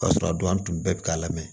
Ka sɔrɔ a don an tun bɛ k'a lamɛn